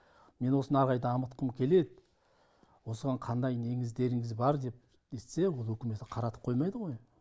мен осыны әрі қарай дамытқым келеді осыған қандай неңіздеріңіз бар деп нетсе ол үкімет қаратып қоймайды ғой